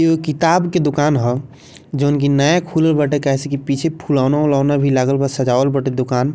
एगो किताब के दुकान ह जउन की नया खुलल बाटे काहे से की पीछे फुलौना उलाेना भी लागल बा सजावल बाटे दुकान।